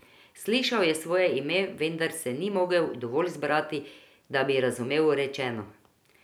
Slišal je svoje ime, vendar se ni mogel dovolj zbrati, da bi razumel rečeno.